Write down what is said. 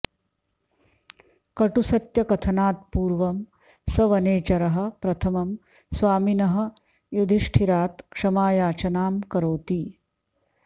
कटुसत्यकथनात्पूर्व सः वनेचरः प्रथमं स्वामिनः युधिष्ठिरात क्षमायाचनां करोति